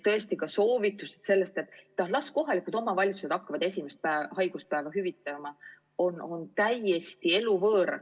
Aga soovitused, et las kohalikud omavalitsused hakkavad esimest haiguspäeva hüvitama, on täiesti eluvõõrad.